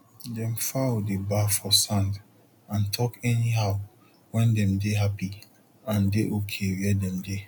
dem fowl dey baff for sand and talk any how wen dem dey happy and dey ok where dem dey